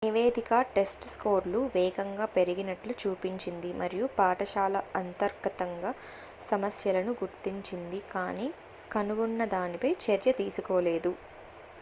నివేదిక టెస్ట్ స్కోర్లు వేగంగా పెరిగినట్లు చూపించింది మరియు పాఠశాల అంతర్గతంగా సమస్యలను గుర్తించింది కానీ కనుగొన్న దానిపై చర్య తీసుకోలేదు